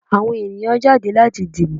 Àwọn ènìyàn jáde láti dìbò.